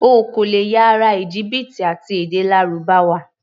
O kò lè ya ará Íjíbítì àti èdè Lárúbáwá.